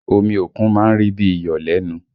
Omi òkun má ń rí bí i iyọ̀ lẹ́nu